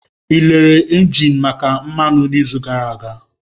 Ị lere engine maka mmanụ n'izu gara aga?